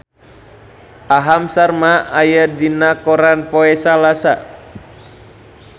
Aham Sharma aya dina koran poe Salasa